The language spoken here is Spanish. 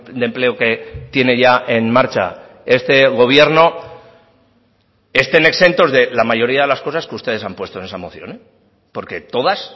de empleo que tiene ya en marcha este gobierno estén exentos de la mayoría de las cosas que ustedes han puesto en esa moción porque todas